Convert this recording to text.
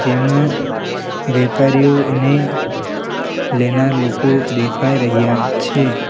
તેમાં વેપારીઓ અને લેનાર લોકો દેખાઈ રહ્યા છે.